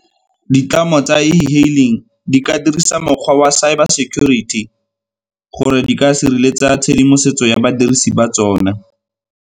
Ditlamo tsa e-hailing di ka dirisa mokgwa wa cyber security gore di ka sireletsa tshedimosetso ya badirisi ba tsona.